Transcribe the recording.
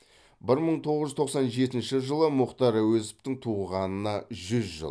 бір мың тоғыз жүз тоқсан жетінші жылы мұхтар әуезовтің туғанына жүз жыл